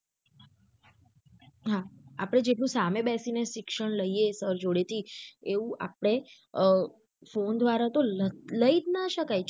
હા આપળે જેટલું સામે બેસી ને શિક્ષણ લઈએ sir જોડે થી એવું આપળે અ phone દ્વારા તો લઇ જ ના શકાય.